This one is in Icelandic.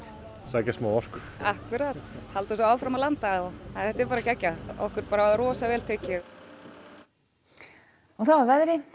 sækja smá orku akkúrat halda svo áfram að landa en þetta er bara geggjað okkur er rosa vel tekið og þá að veðri